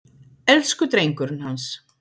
Elsku drengurinn hans!